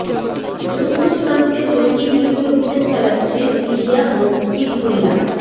যৌথ সীমান্তে জঙ্গি বিরোধী অভিযান চালাচ্ছে সিরিয়া ও হিজবুল্লাহ